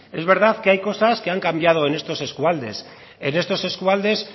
es verdad que hay cosas que han cambiado en estos eskualdes en estos eskualdes